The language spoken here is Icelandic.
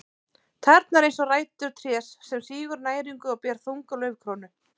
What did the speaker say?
Tærnar eins og rætur trés sem sýgur næringu og ber þunga laufkrónu.